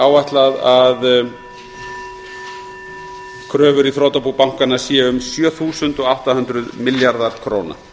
áætlað er að kröfur í þrotabú bankanna séu um sjö þúsund átta hundruð milljarðar króna